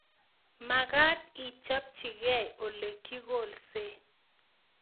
Magat ichopchigei ole kikolse